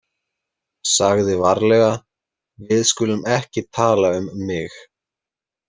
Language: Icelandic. Sagði varlega: Við skulum ekki tala um mig.